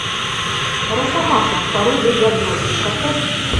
росомаха пародия для взрослых поставь